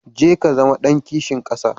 Jeka Ka zama ɗan kishin ƙasa.